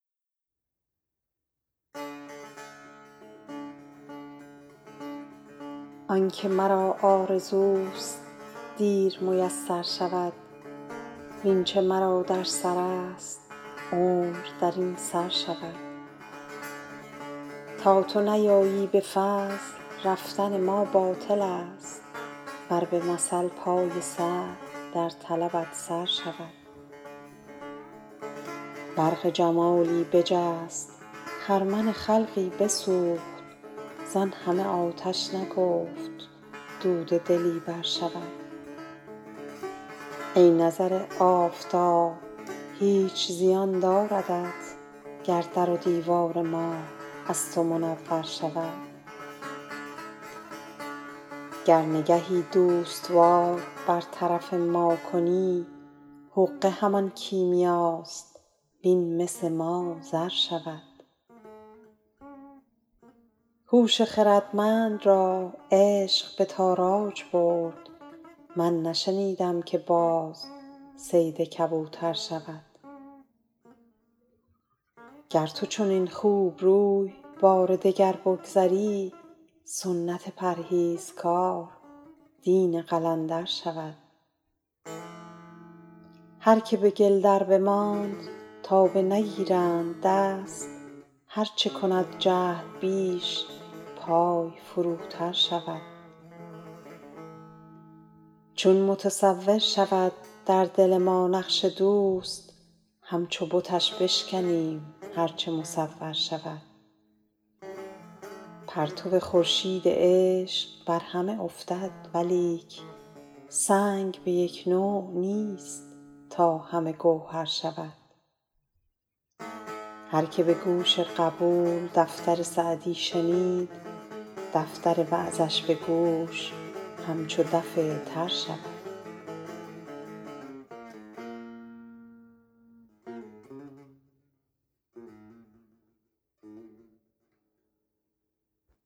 آن که مرا آرزوست دیر میسر شود وین چه مرا در سرست عمر در این سر شود تا تو نیایی به فضل رفتن ما باطلست ور به مثل پای سعی در طلبت سر شود برق جمالی بجست خرمن خلقی بسوخت زان همه آتش نگفت دود دلی برشود ای نظر آفتاب هیچ زیان داردت گر در و دیوار ما از تو منور شود گر نگهی دوست وار بر طرف ما کنی حقه همان کیمیاست وین مس ما زر شود هوش خردمند را عشق به تاراج برد من نشنیدم که باز صید کبوتر شود گر تو چنین خوبروی بار دگر بگذری سنت پرهیزگار دین قلندر شود هر که به گل دربماند تا بنگیرند دست هر چه کند جهد بیش پای فروتر شود چون متصور شود در دل ما نقش دوست همچو بتش بشکنیم هر چه مصور شود پرتو خورشید عشق بر همه افتد ولیک سنگ به یک نوع نیست تا همه گوهر شود هر که به گوش قبول دفتر سعدی شنید دفتر وعظش به گوش همچو دف تر شود